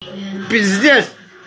пиздец